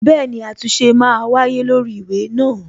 Bẹẹni, àtúnṣe ma wáyé lórí ìwé náà